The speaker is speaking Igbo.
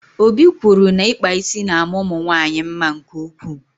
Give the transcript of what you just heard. Obi kwụrụ na ịkpa ísì na ama ụmụnwanyị mma nke ụkwụ